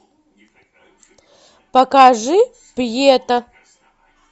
покажи пьета